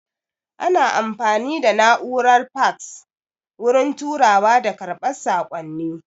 Ana amfani da na'urar faks wurin turawa da karɓar saƙonni